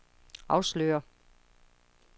afslører